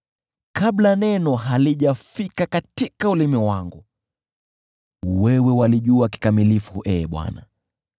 Kabla neno halijafika katika ulimi wangu, wewe walijua kikamilifu, Ee Bwana .